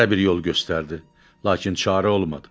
Hərə bir yol göstərdi, lakin çarə olmadı.